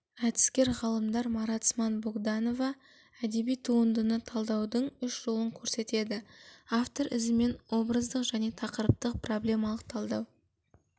әдіскер ғалымдар маранцман богданова әдеби туындыны талдаудың үш жолын көрсетеді автор ізімен образдық және тақырыптық-проблемалық талдау